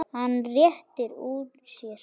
Hann réttir úr sér.